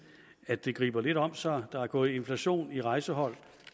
at det griber lidt om sig der er gået inflation i rejsehold